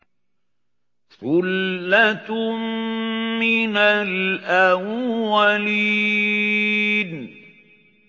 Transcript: ثُلَّةٌ مِّنَ الْأَوَّلِينَ